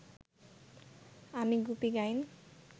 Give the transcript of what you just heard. আমি গুপি গাইন